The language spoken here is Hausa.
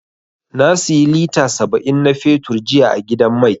Na siyi lita saba'in na fetur jiya a gidan mai.